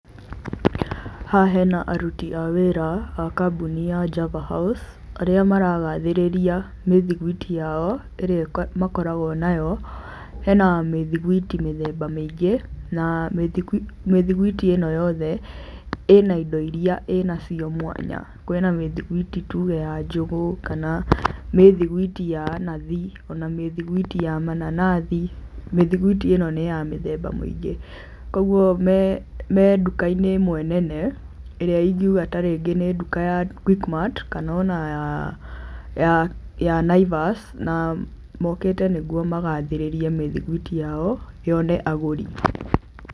Haha hena aruti a wĩra a kambuni ya Java House, arĩa maragathĩrĩria mĩthiguiti yao ĩrĩa makoragwo nayo, hena mĩthiguiti mĩthemba mĩingĩ, na mĩthiguiti ĩno yothe ĩna indo iria ĩnacio mwanya. Kwĩna mĩthiguiti tuge ya njũgũ kana mĩthiguiti ya nathi ona mĩthiguiti ya mananathi, mĩthiguiti ĩno nĩya mĩthemba mĩingĩ. Kwogwo me nduka-inĩ ĩmwe nene ĩrĩa ingiuga tarĩngĩ nĩ nduka ya Quickmat kana ona ya Naivas na mokĩte nĩgwo magathĩrĩrĩe mĩthiguiti yao yone agũri.